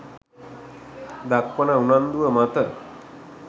දක්වන උනන්දුව මත